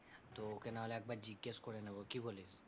তো ওকে নাহলে একবার জিজ্ঞেস করে নেব, কি বলিস?